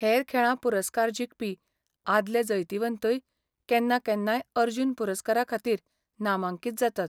हेर खेळां पुरस्कार जिखपी आदले जैतिवंतय केन्ना केन्नाय अर्जुन पुरस्कारा खातीर नामांकीत जातात.